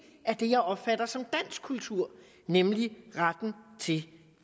af det jeg opfatter som dansk kultur nemlig retten til